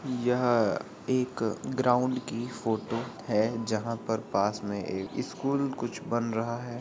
यह एक ग्राउंड की फोटो है जहाँ पर पास में एक स्कूल कुछ बन रहा है।